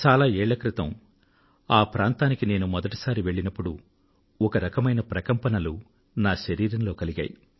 చాలా ఏళ్ళ క్రితం ఆ ప్రాంతానికి నేను మొదటిసారి వెళ్ళినప్పుడు ఒకరకమైన ప్రకంపనలు నా శరీరంలో కలిగాయి